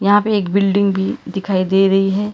यहां पे एक बिल्डिंग भी दिखाई दे रही है।